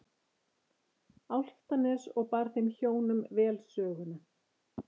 Álftanes og bar þeim hjónum vel söguna.